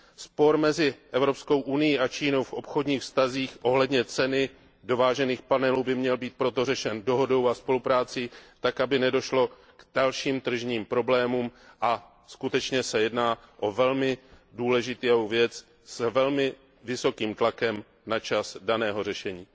Spor mezi Evropskou unií a Čínou v obchodních vztazích ohledně ceny dovážených panelů by měl být proto řešen dohodou a spoluprácí tak, aby nedošlo k dalším tržním problémům, a skutečně se jedná o velmi důležitou věc s velmi vysokým tlakem na čas daného řešení.